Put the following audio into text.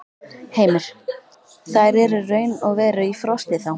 Heimir: Þær eru raun og veru í frosti, þá?